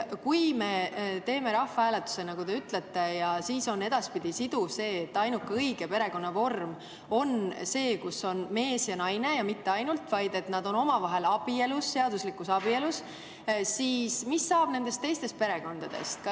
Kui me teeme rahvahääletuse, nagu te ütlete, ja edaspidi on siduv, et ainuke õige perekonnavorm on see, kus on mees ja naine, kusjuures mitte ainult see, vaid et nad on ka omavahel abielus, seaduslikus abielus, siis mis saab nendest teistest perekondadest?